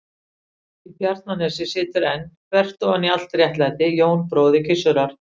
Í Bjarnanesi situr enn, þvert ofan í allt réttlæti, Jón bróðir Gizurar.